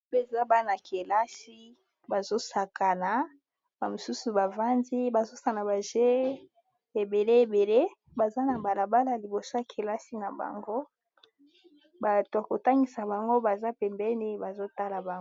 apeeza bana-kelasi bazosakana bamosusu bavandi bazosana baje ebele ebele baza na balabala liboso kelasi na bango bato kotangisa bango baza pembeni bazotala bano